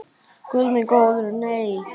Guð minn góður nei.